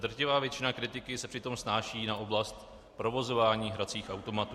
Drtivá většina kritiky se přitom snáší na oblast provozování hracích automatů.